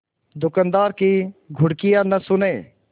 दुकानदार की घुड़कियाँ न सुने